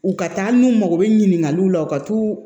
U ka taa hali n'u mago bɛ ɲininkaliw la u ka t'u